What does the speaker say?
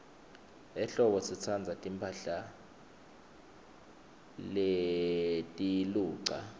ehlobo sitsandza timphahla letiluca